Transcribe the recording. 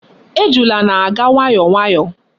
Ejula na-aga nwayo nwayo